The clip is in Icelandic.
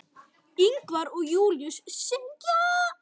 Ingvar og Júlíus syngja.